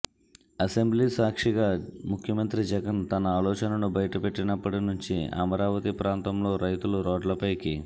assembly సాక్షిగా ముఖ్యమంత్రి జగన్ తన ఆలోచనను బయటపెట్టినప్పటి నుంచి అమరావతి ప్రాంతంలోని రైతులు రోడ్లపైకి